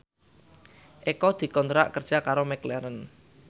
Eko dikontrak kerja karo McLaren